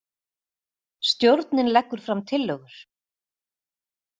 Stjórnin leggur fram tillögur